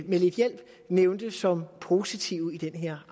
med lidt hjælp nævnte som positive i den her